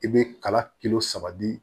I bɛ kala kilo saba di